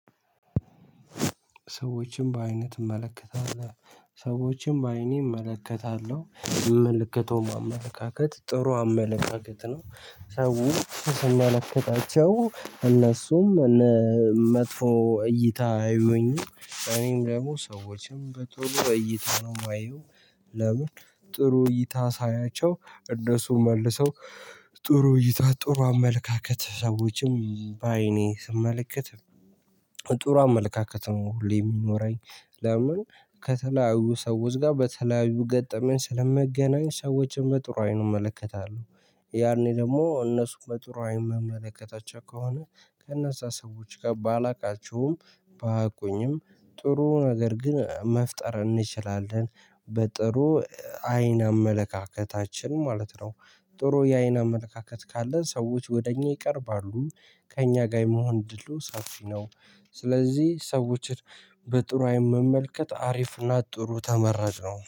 ሰዎችን በዓይነህ ትመከታለህ? ሰዎችን በአይኔ እመለከታለሁ ምልክቱም የሚመለከተው አመለካከት ጥሩ አመለካከት ነው። ሰው ስንናፍቃቸው እነሱም መጥፎ እይታ አያይዩኝም እኔም ደግሞ ሰዎችም በቶሎ እይታ ነው የማየው። ለምን ጥሩ እይታ ሳያቸው እነሱ መልሰው። ጥሩ ይታ ጥሩ አመለካከት ሰዎችም በአይኔ ስመለከት ጥሩ አመለካከት ነው ሁሌም የሚኖረኝ። ለምን ከተለያዩ ሰዎች ጋር በተለያዩ ገጠመኝ ስለመገናኘት ሰዎችን በጥሩ አይኑን እመለከታለሁ። ያኔ ደግሞ እነሱን በጥሩ አይኑን መመለከታቸው ከሆነ ከነዛ ሰዎች ጋር ባላውቃቸውም ቢያቁኝም ጥሩ ነገር ግን መፍጠር እንችላለን። በጥሩ አይን አመለካከታችን ማለት ነው። ጥሩ የአይን አመለካከት ካለ ሰዎች ወደእኛ ይቀርባሉ። ከእኛ ጋር የመሆን እድሉ ሰፊ ነው። ስለዚህ ሰዎችን በጥሩ አይን መመልከት አሪፍና ጥሩ ተመራጭ ነው